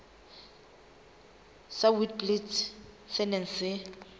sa witblits se neng se